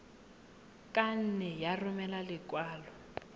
ka nne ya romela lekwalo